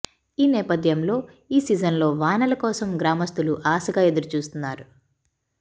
ఈ నేపథ్యంలో ఈ సీజన్లో వానల కోసం గ్రామస్తులు ఆశగా ఎదురుచూస్తున్నారు